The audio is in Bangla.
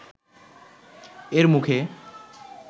এর মুখে